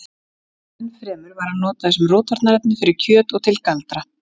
enn fremur var hann notaður sem rotvarnarefni fyrir kjöt og til galdra